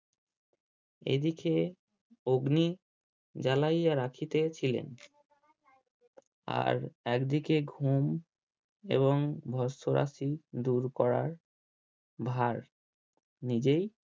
এদিকে অগ্নি জ্বালাইয়া রাখিতে ছিলেন আর একদিকে ঘুম এবং দূর করার ভার নিজেই